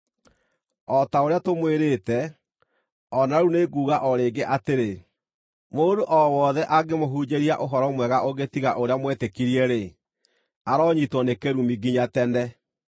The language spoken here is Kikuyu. O ta ũrĩa tũmwĩrĩte, o na rĩu nĩ nguuga o rĩngĩ atĩrĩ, mũndũ o wothe angĩmũhunjĩria ũhoro mwega ũngĩ tiga ũrĩa mwetĩkirie-rĩ, aronyiitwo nĩ kĩrumi nginya tene!